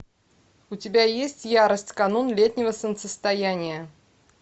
у тебя есть ярость канун летнего солнцестояния